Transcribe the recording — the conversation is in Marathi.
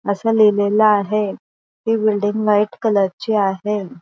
असं लिहिलेलं आहे. ती बिल्डिंग व्हाईट कलर ची आहे.